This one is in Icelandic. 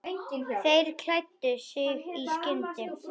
Þeir klæddu sig í skyndi.